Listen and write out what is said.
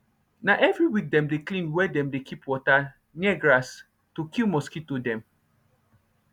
na every week dem dey clean where dem dey keep water near grass to kill mosquito dem